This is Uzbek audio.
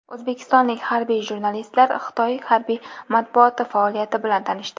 O‘zbekistonlik harbiy jurnalistlar Xitoy harbiy matbuoti faoliyati bilan tanishdi .